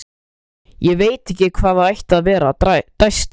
Ég veit ekki hvað það ætti að vera- dæsti